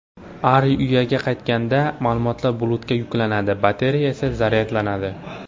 Ari uyaga qaytganda, ma’lumotlar bulutga yuklanadi, batareya esa zaryadlanadi.